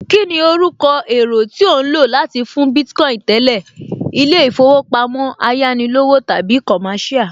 Kíni orúkọ èro tí ò ń lò láti fún Bitcoin tẹ́lẹ̀? Ilé ìfowópamọ́ Ayánilówó tàbí Commercial?